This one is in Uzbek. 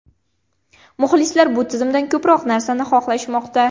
Muxlislar bu tizimdan ko‘proq narsani xohlashmoqda.